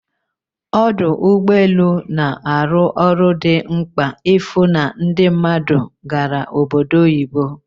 Ọdụ ụgbọ elu na-arụ ọrụ dị mkpa ịfụ na ndị mmadụ gara obodo oyibo